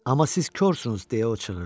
Amma siz korsunuz, deyə o çığırdı.